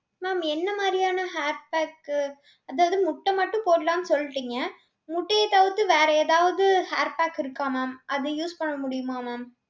ma'am என்ன மாதிரியான hair pack அதாவது முட்டை மட்டும் போடலான்னு சொல்லிட்டீங்க. முட்டையை தவிர்த்து வேற ஏதாவது hair pack இருக்கா ma'am அது use பண்ண முடியுமா ma'am.